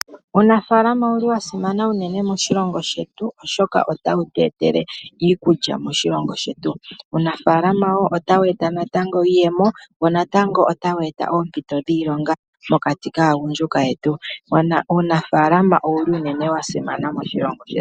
Uunafaalama owuli wa simana unene moshilongo shetu oshoka otawutu etele iikulya moshilongo shetu. Uunafaalama woo otawu eta natango iiyemo wo natango otawu eta oompito dhiilonga mokati kaagundjuka yetu. Uunafaalama owuli unene wasimana moshilongo shetu.